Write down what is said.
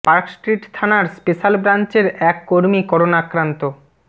park Street থানার special ব্রাঞ্চের এক কর্মী করোনা আক্রান্ত